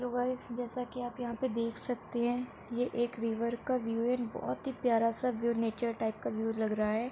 लो guys जैसा की आप यहाँ पे देख सकते हैं। ये एक रिवर का व्यू है। न् बोहोत ही प्यारा सा व्यू नेचर टाइप का व्यू लग रहा है।